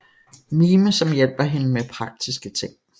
Mime som hjælper hende med praktiske ting